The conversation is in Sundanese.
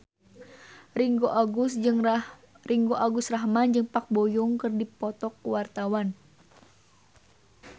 Ringgo Agus Rahman jeung Park Bo Yung keur dipoto ku wartawan